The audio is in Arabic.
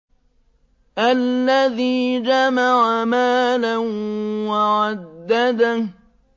الَّذِي جَمَعَ مَالًا وَعَدَّدَهُ